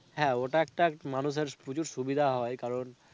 হ্যাঁ ওটা একটা মানুষের প্রচুর সুবিধা হয় কারণ.